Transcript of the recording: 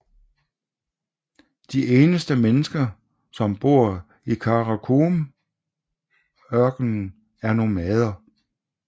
De eneste mennesker som bor i Karakumørkenen er nomader